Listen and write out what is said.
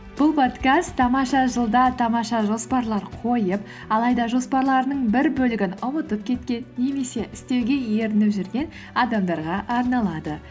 бұл подкаст тамаша жылда тамаша жоспарлар қойып алайда жоспарларының бір бөлігін ұмытып кеткен немесе істеуге ерініп жүрген адамдарға арналады